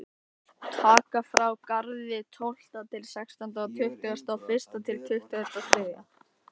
Taka frá á Garði tólfta til sextánda og tuttugasta og fyrsta til tuttugasta og þriðja.